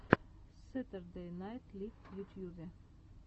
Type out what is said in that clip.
сэтердэй найт лив в ютьюбе